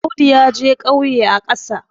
Audu ya je ƙauye a ƙasa